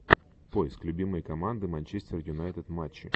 поиск любимые команды манчестер юнайтед матчи